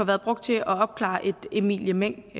været brugt til at opklare et emilie meng